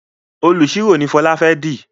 oniṣiro no Fola fè di